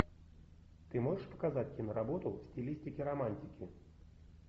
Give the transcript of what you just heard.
ты можешь показать киноработу в стилистике романтики